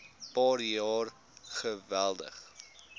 paar jaar geweldig